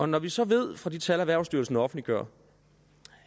når vi så ved fra de tal erhvervsstyrelsen offentliggør